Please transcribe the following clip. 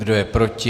Kdo je proti?